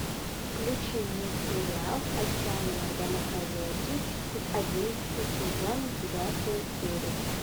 включи мне сериал отчаянные домохозяйки одиннадцатый сезон девятая серия